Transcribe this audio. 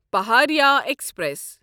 Pahariya express